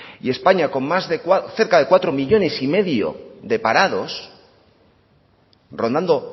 y españa con cerca de cuatro coma cinco millónes de parados rondando